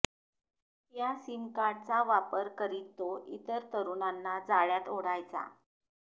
या सीमकार्डचा वापर करीत तो इतर तरूणांना जाळयात ओढायचा